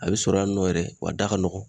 A bɛ sɔrɔ yan nɔ yɛrɛ wa a da ka nɔgɔn